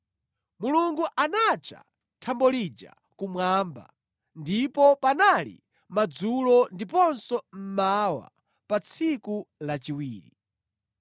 Mulungu anatcha thambo lija “kumwamba.” Ndipo panali madzulo ndiponso mmawa pa tsiku lachiwiri.